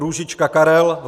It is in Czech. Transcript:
Růžička Karel